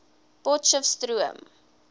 potcheftsroom